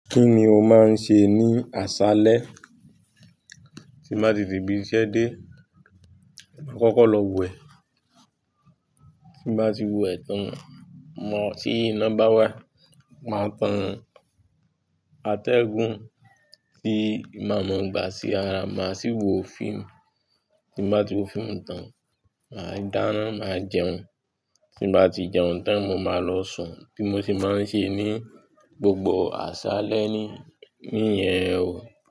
Kí ni o máa ń ṣe ní aṣálẹ́? Tí mo bá ti tii ibi iṣẹ́ dé, màá kọ́kọ́ lọ wẹ̀, tí mo bá ti wẹ̀ tán, ti iná báwà, màá tan àtẹ́gùn, tí maa mọ gbà sí ara, màá sì wo fíìmù, tí mo bá ti wo fíìmù tán, màá dáná, màá jẹun, tí mo bá jẹun tán, mo máa lọ sùn. Bi mo se máa ń ṣe ní gbogbo aṣálẹ́ ni, nìyẹn o.